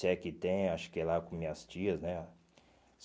Se é que tem, acho que é lá com minhas tias, né?